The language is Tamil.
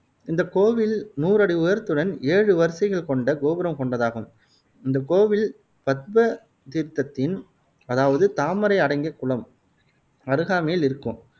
இந்தக் கோவில் நூறு அடி உயரத்துடன் ஏழு வரிசைகள் கொண்ட கோபுரம் கொண்டதாகும். இந்தக் கோவில் பத்ம தீர்த்தத்தின் அதாவது தாமரை அடங்கிய குளம் அருகாமையில் இருக்கும்